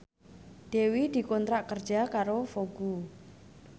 Dewi dikontrak kerja karo Vogue